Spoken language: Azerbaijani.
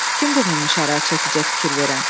Kimdi mummi şara çəkicə fikir verən?